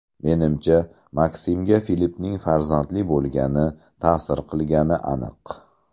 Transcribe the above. Menimcha, Maksimga Filippning farzandli bo‘lgani ta’sir qilgani aniq.